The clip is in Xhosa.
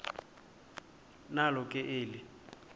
nalo ke eli